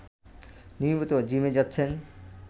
নিয়মিত জিমে যাচ্ছেন